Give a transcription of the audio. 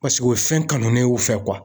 Paseke o ye fɛn kanunen y'u fɛ